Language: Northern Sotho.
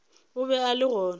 o be a le gona